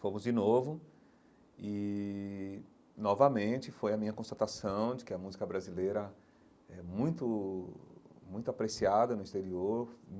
Fomos de novo e, novamente, foi a minha constatação de que a música brasileira é muito muito apreciada no exterior.